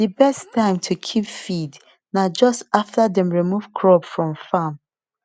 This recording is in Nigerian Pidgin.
the best time to keep feed na just after dem remove crop from farm